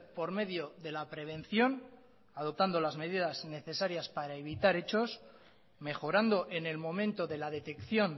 por medio de la prevención adoptando las medidas necesarias para evitar hechos mejorando en el momento de la detección